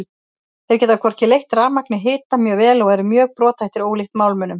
Þeir geta hvorki leitt rafmagn né hita mjög vel og eru mjög brothættir ólíkt málmunum.